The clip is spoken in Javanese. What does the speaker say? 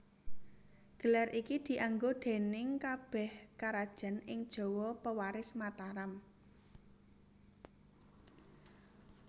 Gelar iki dianggo déning kabèh karajan ing Jawa pewaris Mataram